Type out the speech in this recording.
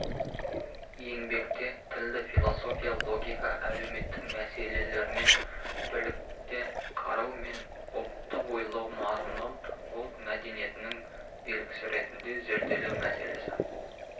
еңбекте тілді философия логика әлеуметтік мәселелермен бірлікте қарау мен ұлттық ойлау мазмұнын ұлт мәдениетінің белгісі ретінде зерделеу мәселесі